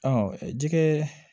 Ɔ jɛgɛ